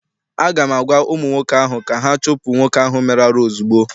Aga m agwa ụmụ nwoke ahụ ka ha chụpụ nwoke ahụ mere arụ ozugbo!